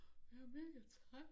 Jeg mega træt